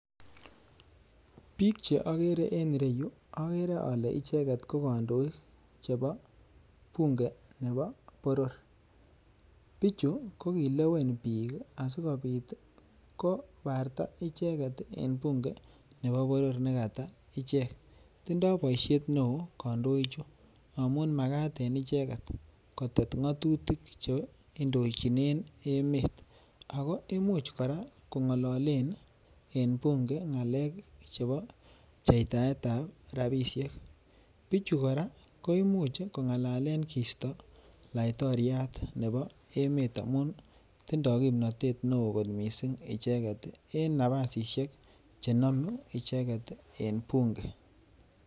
Bik che ogere en ireyu ogere ole icheket ko kandoik chebo bunge nebo boror, bichu ko kilewen bik asi kobarta icheget en bunge nebo boror ne kata icheget tinye boishet neoo kandoichu amun magat en icheget kotet ngotutik che indochinen emet ago imuch koraa kongololen en bunge ngalek chebo pchetaet ab rabishek. Bichu koraa koimuch kongalalen kisto latoriat nebo emet amun tinye kimnot ne oo missing icheget ii en nabasisiek che nomu icheget en bunge